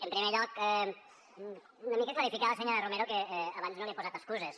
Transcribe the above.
en primer lloc una mica clarificar a la senyora romero que abans no li he posat excuses